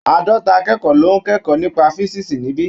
Àádọ́ta akẹ́kọ̀ọ́ ló ń kẹ́kọ̀ọ́ nípa físíìsì níbí.